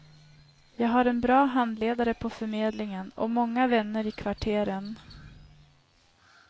Jag har en bra handledare på förmedlingen och många vänner i kvarteren.